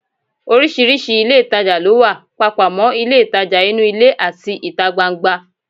Oríṣiríṣi ilé ìtajà ló wà, papọ̀ mọ́ ilé ìtajà inú ilé àti ìta gbangba